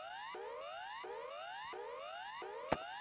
verð Jóa Fel.